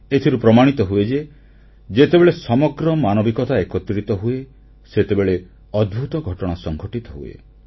ଏଥିରୁ ପ୍ରମାଣିତ ହୁଏ ଯେ ଯେତେବେଳେ ସମଗ୍ର ମାନବିକତା ଏକତ୍ରିତ ହୁଏ ସେତେବେଳେ ଅଦ୍ଭୁତ ଘଟଣା ସଂଘଟିତ ହୁଏ